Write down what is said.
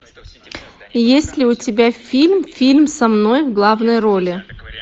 есть ли у тебя фильм фильм со мной в главной роли